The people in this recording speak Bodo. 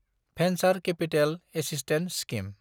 venture capital assistance scheme